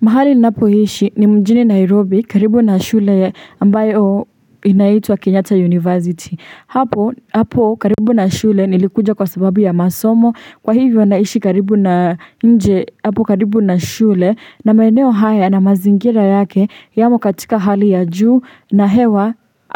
Mahali ninapo ishi ni mjini Nairobi karibu na shule ambayo inaitwa Kenyatta University. Hapo karibu na shule nilikuja kwa sababu ya masomo. Kwa hivyo naishi karibu na nje. Hapo karibu na shule na maeneo haya na mazingira yake yamo katika hali ya juu. Na